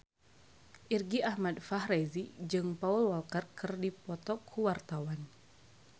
Irgi Ahmad Fahrezi jeung Paul Walker keur dipoto ku wartawan